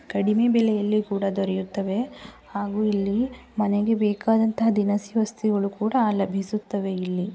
ಕಡಿಮೆ ಬೆಲೆಯಲ್ಲೂ ಕೂಡ ದೊರೆಯುತ್ತವೆ ಹಾಗು ಇಲ್ಲಿ ಮನೆಗೆ ಬೇಕಾದಂತ ದಿನಸಿ ವಸ್ತುಗಳು ಕೂಡ ಲಭಿಸುತ್ತವೆ ಇಲ್ಲಿ.